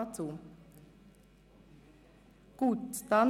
– Dies ist nicht der Fall.